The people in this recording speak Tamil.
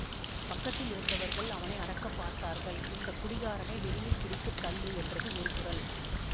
பக்கத்திலிருந்தவர்கள் அவனை அடக்கப் பார்த்தார்கள் இந்த குடிகாரனை வெளியில் பிடித்து தள்ளு என்றது ஒரு குரல்